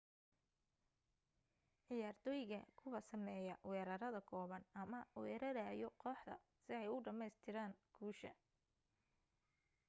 ciyaartoyga kuwa sameya weerarada kooban ama werarayo kooxda si ay u dhameestiran guusha